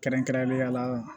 Kɛrɛnkɛrɛnnenya la